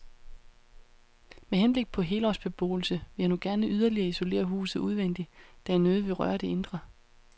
Med henblik på helårsbeboelse vil jeg nu gerne yderligere isolere huset udvendigt, da jeg nødigt vil røre det indre.